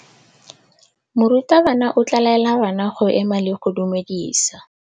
Morutabana o tla laela bana go ema le go go dumedisa.